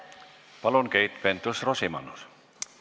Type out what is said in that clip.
Palun, Keit Pentus-Rosimannus!